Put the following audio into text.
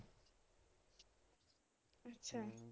ਅੱਛਾ।